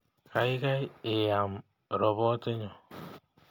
Gaigai I am ropotinyu